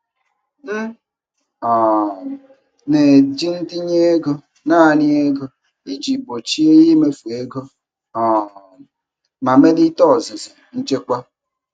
M um na-eji ntinye ego naanị ego iji gbochie imefu ego um ma melite ọzụzụ nchekwa.